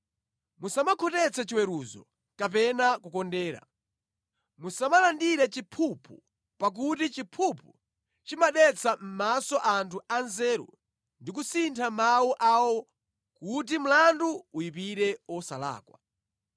Musamakhotetse chiweruzo kapena kukondera. Musamalandire chiphuphu pakuti chiphuphu chimadetsa mʼmaso anthu a nzeru ndi kusintha mawu awo kuti mlandu uyipire osalakwa.